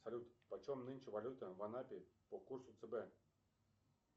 салют почем нынче валюта в анапе по курсу цб